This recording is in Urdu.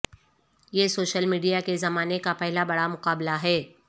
یہ سوشل میڈیا کے زمانے کا پہلا بڑا مقابلہ ہے